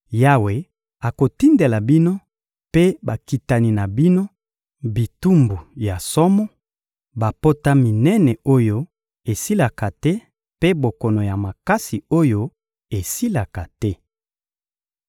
Yawe akotindela bino mpe bakitani na bino bitumbu ya somo: bapota minene oyo esilaka te mpe bokono ya makasi oyo esilaka te.